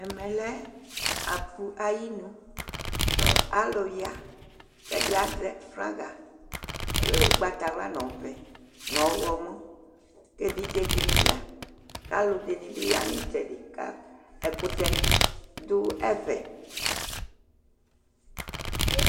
Ɛmɛlɛ aƒũ ayinu Ku alu ya Kɛdi aeɛ flaga Ougbata wla nɔ ɔʋɛ nɔ ɔwlɔmɔ̂n Ké évidjé dini ya Ka alu dinini bi ya nu itsɛdi Ka ɛkutɛ du ɛfɛ